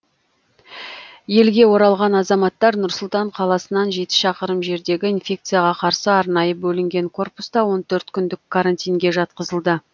елге оралған азаматтар нұр сұлтан қаласынан жеті шақырым жердегі инфекцияға қарсы арнайы бөлінген корпуста он төрт күндік карантинге жатқызылды